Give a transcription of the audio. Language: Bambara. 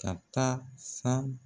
Ka taa san